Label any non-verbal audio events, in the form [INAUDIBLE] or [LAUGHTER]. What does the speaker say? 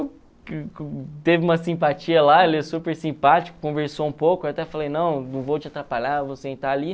[UNINTELLIGIBLE] teve uma simpatia lá, ele é super simpático, conversou um pouco, eu até falei, não, não vou te atrapalhar, eu vou sentar ali.